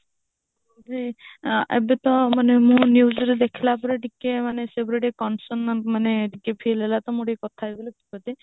ଏବେ ଏବେ ତ news ରେ ଦେଖିଲା ପରେ ଟିକେ ମାନେ ସେ ଉପରେ concern ମାନେ ଟିକେ feel ହେଲା ତ ମୁ ଟିକେ କଥା ହେବି ବୋଲି call କରିଛି